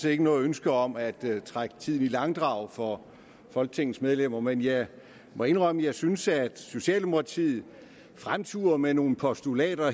ikke noget ønske om at trække tiden i langdrag for folketingets medlemmer men jeg må indrømme at jeg synes at socialdemokratiet fremturer med nogle postulater